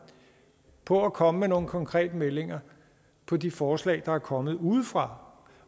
på at komme med nogle konkrete meldinger på de forslag der er kommet udefra